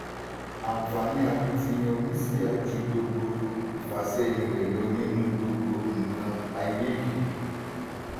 àǹfààní akitiyan oníṣíà ju gbogbo ìfàsẹ́yìn rẹ lọ nínú gbogbo nǹkan ayé yìí.